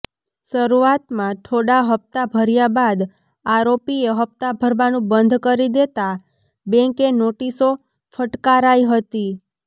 શરૂઆતમાં થોડા હપ્તા ભર્યા બાદ આરોપીએ હપ્તા ભરવાનું બંધ કરી દેતા બેંકે નોટિસો ફટકારાઈ હતી